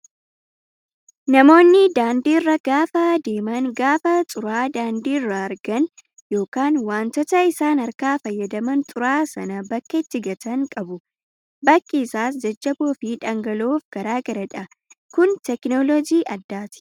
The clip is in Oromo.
Namoonni daandii irra gaafa deeman gaafa xuraa'aa daandii irraa argan yookaan wantoota isaan harkaa fayyadaman xuraa'aa sana bakka itti gatan qabu. Bakki isaas jajjaboo fi dhangala'oof garaagaradha. Kun teekinooloojii addaati.